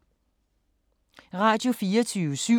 Radio24syv